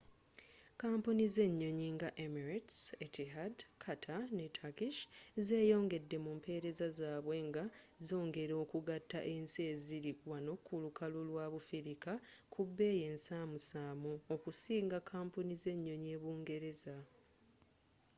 kampuni z'enyonyi nga emirates etihad qatar ne turkish zeyongedde mu mpereza zabwe nga z'ongela okugatta ensi eziri wano ku lukalu lwa bufirika ku bbeyi ensamusamu okusinga kampuni z'enyonyi e bungereza